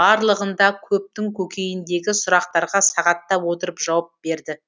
барлығында көптің көкейіндегі сұрақтарға сағаттап отырып жауап берді